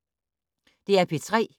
DR P3